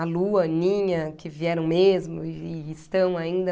A Lu, a Aninha, que vieram mesmo e e estão ainda.